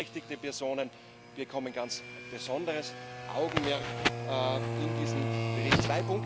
Beeinträchtigte Personen bekommen ganz besonderes Augenmerk in diesem Bericht.